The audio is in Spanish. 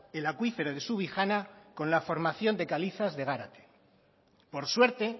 el acuífero de subijana con la formación de calizas de gárate por suerte